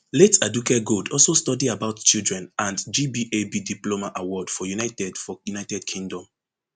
late aduke gold also study about children and gbab diploma award for united for united kingdom